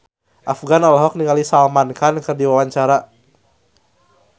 Afgan olohok ningali Salman Khan keur diwawancara